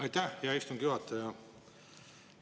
Aitäh, hea istungi juhataja!